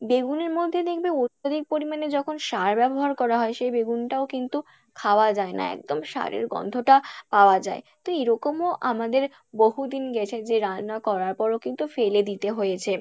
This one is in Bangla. বেগুনের মধ্যে দেখবে অত্যধিক পরিমাণে যখন সার ব্যাবহার করা হয় সেই বেগুন টাও কিন্তু খাওয়া যায়না একদম সারের গন্ধ টা পাওয়া যায়, তো এরকমও আমাদের বহুদিন গেছে যে রান্না করার পরও কিন্তু ফেলে দিতে হয়েছে।